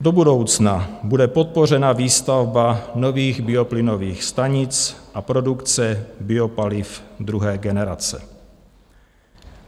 Do budoucna bude podpořena výstavba nových bioplynových stanic a produkce biopaliv druhé generace.